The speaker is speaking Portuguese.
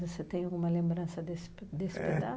Você tem alguma lembrança desse desse